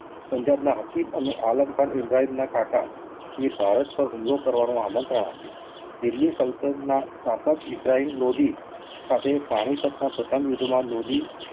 પંજાબના હકીમ અને આલમરખાઇબ્રાહિમ ના કાકા એ ભારત પર હુમલો કરવાનું આમન્ત્રણ આપ્યું. દિલ્લી સલ્તનટતના શાસક ઇબ્રાહિમ લોદી સાથે પાણીપતના પ્રથમ યુદ્ધમાં લોંડી